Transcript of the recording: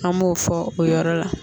An b'o fɔ o yɔrɔ la.